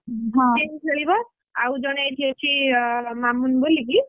ସେ ବି ଖେଳିବ ଆଉ ଜଣେ ଏଠିଅଛି ମାମୁନ ବୋଲିକି,